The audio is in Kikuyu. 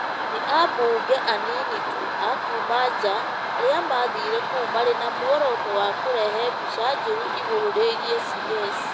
Nĩ ambunge anini tu a kuuma nja arĩa maathire kuo marĩ na muoroto wa kũrehe mbica njũru igũrũ rĩgiĩ CS.